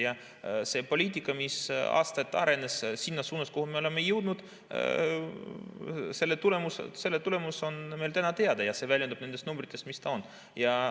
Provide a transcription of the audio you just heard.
Ja see poliitika, mis aastaid arenes sinna suunas, kuhu me oleme jõudnud, selle tulemus on meil täna teada ja see väljendub nendes numbrites, mis meil on.